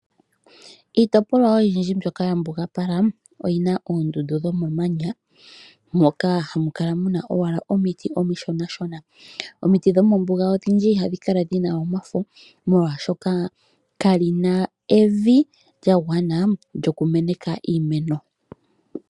Iitopolwa oyindji mbyoka ya mbugapalwa oyina oondundu dhomamanya moka hamu kala owala muna owala omiti omishona . Omiti dhomombuga odhindji ihadhi kala dhina omafo molwaashoka kamuna evi lyagwana lyoku meneka iimeno.